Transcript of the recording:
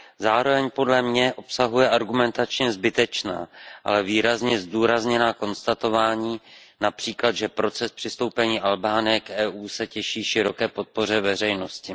Zároveň podle mě obsahuje argumentačně zbytečná, ale výrazně zdůrazněná konstatování, například, že proces přistoupení Albánie k EU se těší široké podpoře veřejnosti.